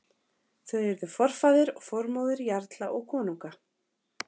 Þau urðu forfaðir og formóðir jarla og konunga.